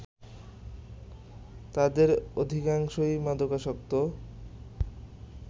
তাদের অধিকাংশই মাদকাসক্ত